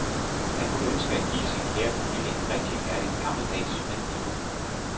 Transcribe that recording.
Han kunne ønske at give sin kære familie en rigtig herlig gammeldags hvid jul.